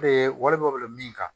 Ee walima wele min kan